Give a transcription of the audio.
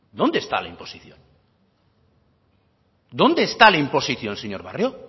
dónde está la imposición dónde está la imposición señor barrio